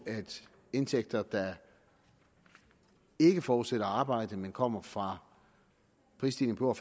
indtægter der ikke forudsætter arbejde men kommer fra prisstigninger